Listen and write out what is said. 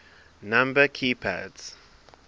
number key pads